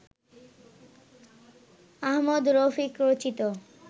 আহমদ রফিক রচিত